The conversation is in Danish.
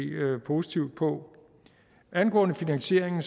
positivt på angående finansieringen